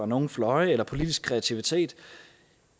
nogen fløje eller politisk kreativitet